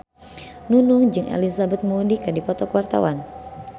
Nunung jeung Elizabeth Moody keur dipoto ku wartawan